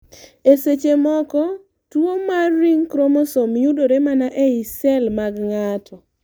e seche moko, tuo mar ring chromosome yudre mana ei sel msg ng'ato